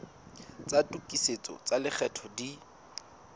tsa tokisetso tsa lekgetho di